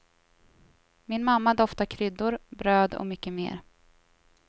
Min mamma doftar kryddor, bröd och mycket mer.